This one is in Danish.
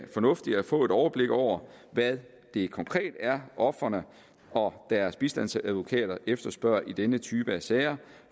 fornuftigt at få et overblik over hvad det konkret er ofrene og deres bistandsadvokater efterspørger i denne type af sager